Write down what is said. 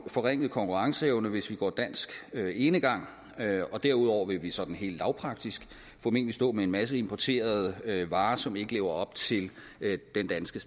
forringet konkurrenceevne hvis vi går dansk enegang og derudover vil vi sådan helt lavpraktisk formentlig stå med en masse importerede varer som ikke lever op til den danske